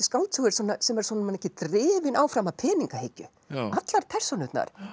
skáldsögu sem er svona mikið drifin áfram af peningahyggju allar persónurnar